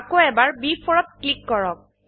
আকৌ এবাৰ B4 ত ক্লিক কৰক